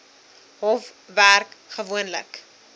hof werk gewoonlik